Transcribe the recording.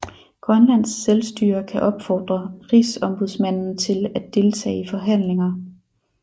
Grønlands Selvstyre kan opfordre Rigsombudsmanden til at deltage i forhandlinger